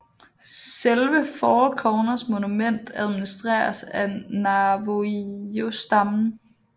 Selve Four Corners Monument administreres af navajostammen